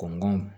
Kɔnɔntɔn